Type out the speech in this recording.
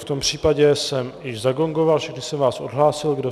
V tom případě jsem již zagongoval, všechny jsem vás odhlásil.